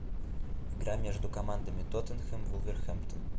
игра между командами тоттенхэм вулверхэмптон